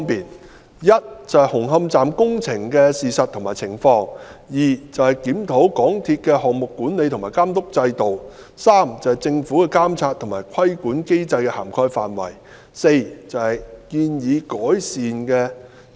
第一，是紅磡站工程的事實和情況；第二，檢討港鐵公司的項目管理和監督制度；第三，政府的監察和規管機制的涵蓋範圍；第四，建議適當改善措施。